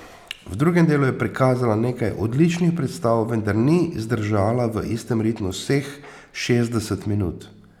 V drugem delu je prikazala nekaj odličnih predstav, vendar ni zdržala v istem ritmu vseh šestdeset minut.